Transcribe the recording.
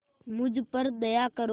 मुझ पर दया करो